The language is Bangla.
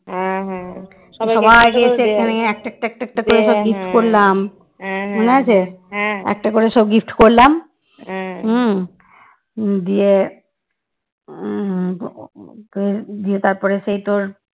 একটা করে সব gift করলাম হম দিয়ে উম দিয়ে তারপরে সেই তোর